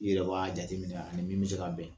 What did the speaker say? I yɛrɛ b'a jateminɛ a ni min bɛ se ka bɛn